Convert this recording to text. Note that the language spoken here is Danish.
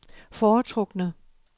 foretrukne